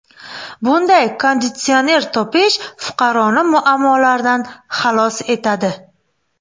Bunday konditsioner topish fuqaroni muammolardan xalos etadi.